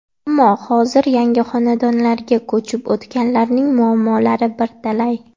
Ammo hozir yangi xonadonlarga ko‘chib o‘tganlarning muammolari bir talay.